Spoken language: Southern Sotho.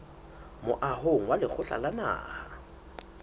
moahong wa lekgotla la naha